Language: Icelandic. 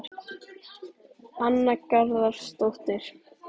Anna Garðarsdóttir